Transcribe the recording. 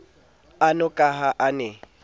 ano ka ha a ne